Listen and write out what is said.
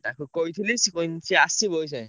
ତାକୁ କହିଥିଲି ସିଏ କହିଛି ସିଏ ଆସିବ ଅଇଖା।